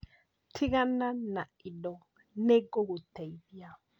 Tigana na indo nĩ ngũgũteithia